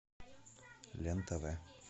лен тв